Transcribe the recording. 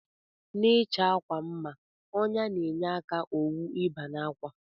Na ichọ akwa mma ọnya na enye aka owu iba n'akwa.